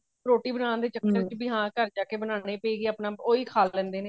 ਰੋਟੀ ਬਨਾਣ ਦੇ ਚੱਕਰ ਚ ਵੀ ਹਾਂ ਘਰ ਜਾਕੇ ਬਨਾਨੀ ਪਏਗੀ ਆਪਣਾ ਉਹੀ ਖਾ ਲੇਂਦੇ ਨੇ